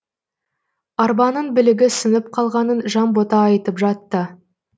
арбаның білігі сынып қалғанын жанбота айтып жатты